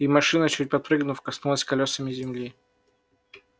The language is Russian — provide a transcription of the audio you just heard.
и машина чуть подпрыгнув коснулась колёсами земли